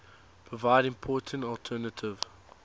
provide important alternative